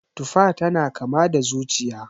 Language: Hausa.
Tufa tana kama da zuciya